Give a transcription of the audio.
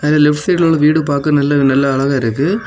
Left சைடுல உள்ள வீடு பார்க்க ரொம்ப நல்ல நல்லா அழகா இருக்கு.